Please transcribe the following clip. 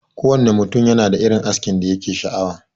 Kowanne ne mutum yanada irin askin da yake sha'awa.